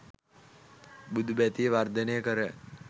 බුදු බැතිය වර්ධනය කර